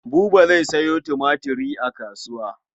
Buba zai sayo tumatir a kasuwa.